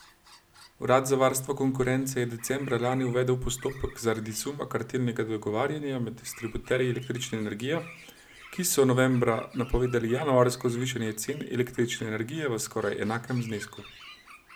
Urad za varstvo konkurence je decembra lani uvedel postopek zaradi suma kartelnega dogovarjanja med distributerji električne energije, ki so novembra napovedali januarsko zvišanje cen električne energije v skoraj enakem znesku.